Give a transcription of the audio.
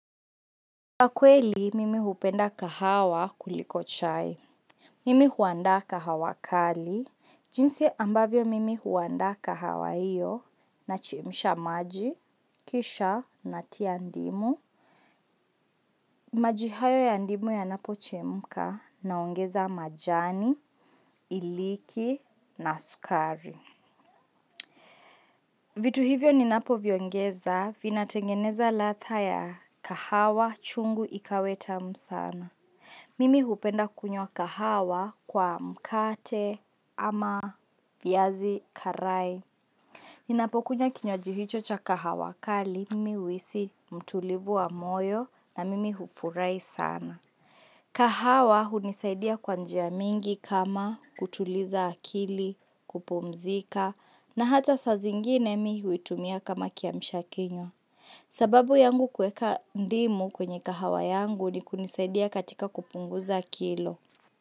Kwa kweli, mimi hupenda kahawa kuliko chai. Mimi huandaa kahawa kali. Jinsi ambavyo mimi huandaa kahawa hiyo nachemsha maji, kisha natia ndimu. Maji hayo ya ndimu ya napochemka naongeza majani, iliki na sukari. Vitu hivyo ninapo viongeza vina tengeneza ladha ya kahawa chungu ikawa tamu sana. Mimi hupenda kunywa kahawa kwa mkate ama viazi karai. Ninapokunya kinywaji hicho cha kahawa kali, mimi uhisi mtulivu wa moyo na mimi hufurahi sana. Kahawa hunisaidia kwa njia mingi kama kutuliza akili, kupumzika na hata sa zingine mimi huitumia kama kiamsha kinywa. Sababu yangu kuweka ndimu kwenye kahawa yangu ni kunisaidia katika kupunguza kilo.